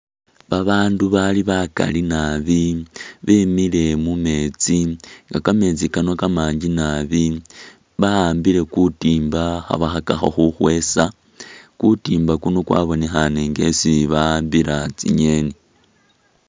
Ba bandu bali bakali naabi, bemile mu metsi nga kametsi kano Kamangi naabi, ba'ambile ku timba kha bakhakakho khukwesa, kutimba kuno kwabonekhane nga kwesi ba'ambila tsinyeni.